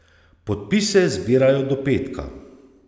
Podpise zbirajo do petka.